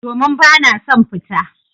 Domin bana son fita.